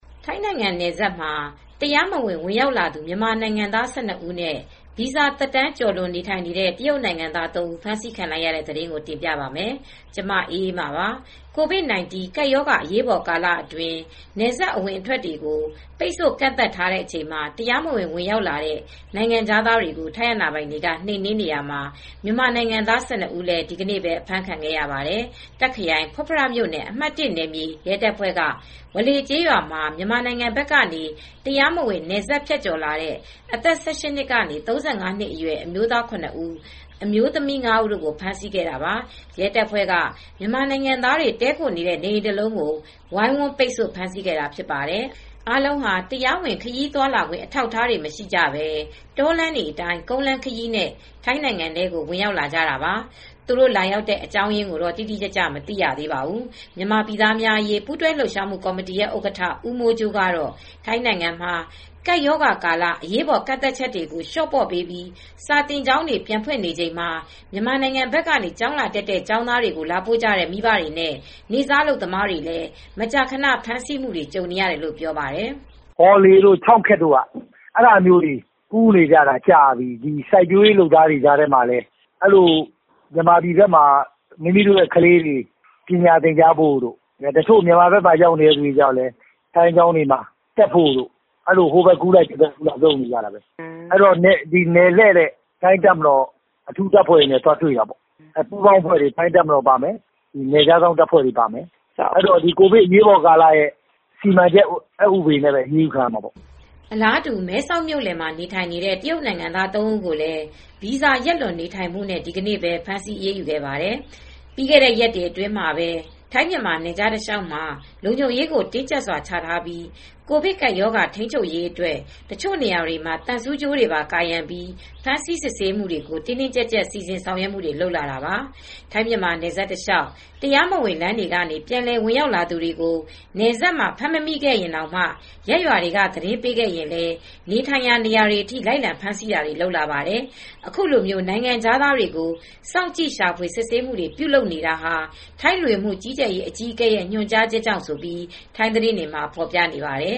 ထိုင်းနိုင်ငံနယ်စပ်မှာ တရားမဝင် ဝင်ရောက်လာသူ မြန်မာနိုင်ငံသား ၁၂ ဦးနဲ့ ဗီဇာသက်တမ်းကျော်လွန် နေထိုင်နေတဲ့ တရုတ်နိုင်ငံသား သုံး ဦး ဖမ်းဆီးခံလိုက်ရတဲ့သတင်းကို တင်ပြပါမယ်။ ဗွီအိုအေမြန်မာပိုင်း သတင်းထောက် မအေးအေးမာက သတင်းပေးပို့ထားပါတယ်။ COVID-19 ကပ်ရောဂါ အရေးပေါ်ကာလအတွင်း နယ်စပ်အဝင်တွေကို ပိတ်ဆို့ကန့်သတ်ထားချိန်မှာ တရားမဝင် ဝင်ရောက်လာတဲ့ နိုင်ငံခြားသားတွေကို ထိုင်းအာဏာပိုင်တွေက နှိမ်နင်းနေရာမှာ မြန်မာနိုင်ငံသား ၁၂ ဦးလည်း ဒီကနေ့ပဲ အဖမ်းခံခဲ့ရပါတယ်။ တာ့ခ်ခရိုင်ဖုတ်ဖ မြို့နယ် အမှတ် ၁ နယ်မြေ ရဲတပ်ဖွဲ့က ဝါလေ ကျေးရွာမှာ မြန်မာနိုင်ငံဘက်ကနေ တရားမဝင် နယ်စပ်ဖြတ်ကျော်လာတဲ့ အသက် ၁၈ နှစ်ကနေ ၃၅ အရွယ် အမျိုးသား ၇ ဦး၊ အမျိုသမီး ၅ ဦးကို ဖမ်းဆီးခဲ့တာပါ။ ရဲတပ်ဖွဲ့က မြန်မာနိုင်ငံသားတွေ တည်းခိုနေတဲ့ နေအိမ်တလုံးကို ဝိုင်းဝန်းပိတ်ဆို့ ဖမ်းဆီးခဲ့တာဖြစ်ပါတယ်။ အားလုံးဟာ တရားဝင် ခရီးသွားခွင့် အထောက်အထား မရှိကြဘဲ တောလမ်းတွေအတိုင်း ကုန်းလမ်းခရီးနဲ့ ထိုင်းနိုင်ငံကို ဝင်ရောက်လာတာပါ။ သူတို့လာရောက်တဲ့ အကြောင်းရင်းကိုတော့ တိတိကျကျ မသိရသေးပါဘူး။ မြန်မာပြည်သားများအရေး ပူးတွဲလှုပ်ရှားမှုကော်မတီ ဥက္ကဋ္ဌ ဦးမိုးကြိုးကတော့ ထိုင်းနိုင်ငံမှာ ကပ်ရောဂါကာလ အရေးပေါ် ကန့်သတ်ချက်တွေကို လျှော့ပေါ့ပေးပြီး စာသင်ကျောင်းတွေ ပြန်ဖွင့်နေချိန်မှာ မြန်မာနိုင်ငံဘက်က ကျောင်းလာတက်တဲ့ ကျောင်းသားတွေကို လာပို့ကြတဲ့ မိဘတွေနဲ့ နေ့စားအလုပ်သမားတွေလည်း မကြာခဏ ဖမ်းဆီးမှုတွေ ကြုံနေရတယ်လို့ ပြောပါတယ်။ "ဝါးလေးတို့ ကျောက်ခက်တို့ဘက်မှာ ဒီလို ကူးသန်းသွားလာနေတာ ကြာပြီ။ စိုက်ပျိုးရေးလုပ်သားတချို့ကလည်း မြန်မာဘက်မှာ မိမိတို့ကလေးတွေ ပညာသင်ကြားဖို့တို့ တချို့ကျတော့လည်း သူတို့ကလေးတွေ ထိုင်းဘက်မှာ ပညာသင်ကြားဖို့တို့ဆိုပြီး ကူးသန်းသွားလာမှုတွေ ရှိနေတာပဲ ကင်းလှည့်တဲ့ ထိုင်းတပ်မတော်အထူးအဖွဲ့တွေ နယ်ခြားစောင့်အဖွဲ့တွေ ပါမယ်။ သူတို့ကတော့ ကိုဗစ် အရေးပေါ်ကာလ စီမံချက်ဥပဒေနဲ့ပဲ အရေးယူခံရမှာပေါ့။" အလားတူ မဲဆောက်မြို့လယ်မှာ နေထိုင်နေတဲ့ တရုတ်နိုင်ငံသား သုံးဦးကိုလည်း ဗီဇာ ရက်လွန် နေထိုင်နေမှုနဲ့ ဒီနေ့ပဲ ဖမ်းဆီးအရေးယူခဲ့ပါတယ်။ ပြီးခဲ့တဲ့ ရက်တွေအတွင်းမှာပဲ ထိုင်းမြန်မာနယ်ခြား တလျှောက်မှာ လုံခြုံရေးကို တင်းကြပ်စွာချထားပြီး ကိုဗစ် ကပ်ရောဂါပိုးထိန်းချုပ်ရေးအတွက် တချို့နေရာတွေမှာ သံဆူးကြိုးတွေပါကာရံပြီး ဖမ်းဆီးစစ်ဆေးမှုတွေကို တင်းတင်းကြပ်ကြပ် စီစဉ်ဆောင်ရွက်မှုတွေ လုပ်လာတာပါ။ ထိုင်းမြန်မာနယ်စပ်တလျှောက် တရားမဝင်လမ်းတွေကနေ ပြန်လည်ဝင်ရောက်လာတဲ့ သူတွေကို နယ်စပ်မှာ ဖမ်းမမိခဲ့ရင်တောင်မှ ရပ်ရွာတွေက သတင်းပေးခဲ့ရင်လည်း နေထိုင်ရာနေရာတွေအထိ လိုက်လံဖမ်းဆီးတာတွေလည်း လုပ်လာပါတယ်။ အခုလို နိုင်ငံခြားသားတွေကို စောင့်ကြည့် ရှာဖွေစစ်ဆေးမှုတွေ ပြုလုပ်နေတာဟာ ထိုင်း လူဝင်မှုကြီးကြပ်ရေးဌာန အကြီးအကဲရဲ့ ညွှန်ကြားချက်ကြောင့်လို့လည်း ထိုင်းသတင်းတွေမှာ ဖော်ပြနေပါတယ်။